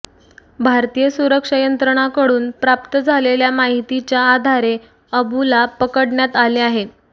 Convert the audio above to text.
भारतीय सुरक्षा यंत्रणांकडून प्राप्त झालेल्या माहितीच्या आधारे अबुला पकडण्यात आले आहे